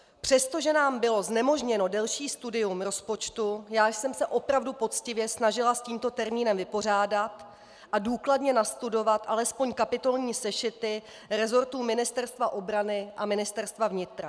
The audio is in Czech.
Přestože nám bylo znemožněno delší studium rozpočtu, já jsem se opravdu poctivě snažila s tímto termínem vypořádat a důkladně nastudovat alespoň kapitolní sešity resortů Ministerstva obrany a Ministerstva vnitra.